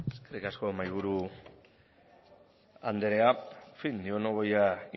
eskerrik asko mahaiburu anderea en fin yo no voy a